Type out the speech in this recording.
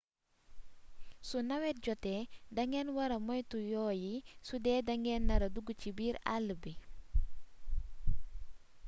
su newet jotee da ngeen wara moytu yoo yi sudee dangeen nara dugg ci biir àll bi